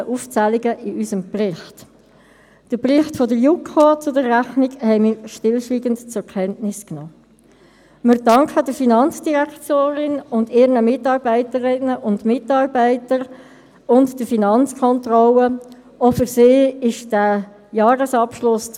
Dass diese Umstellung nicht unproblematisch ist, haben auch die Erfahrungen des AGG gezeigt, wo es 2016 wegen der Umstellung der Buchhaltung auf eine SAP-Anwendung zu grossen Problemen gekommen ist und der Kontenplan und die Liegenschaftsbewertungen bereits nach HRM2 geführt wurden.